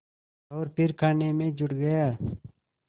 और फिर खाने में जुट गया